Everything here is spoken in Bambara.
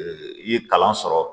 I ye kalan sɔrɔ